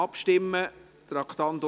Dann stimmen wir ab.